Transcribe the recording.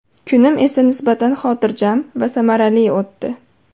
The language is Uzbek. Kunim esa nisbatan xotirjam va samarali o‘tdi.